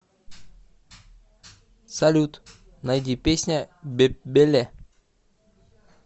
салют найди песня бепбеле